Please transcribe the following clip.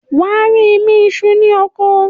wà á rí “imí isú” ní oko.